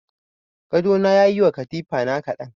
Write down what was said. Gadona ya yi wa katifa na kaɗan.